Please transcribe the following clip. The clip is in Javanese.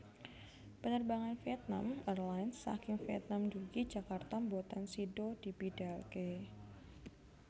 Penerbangan Vietnam Airlines saking Vietnam ndugi Jakarta mboten sido dibidalke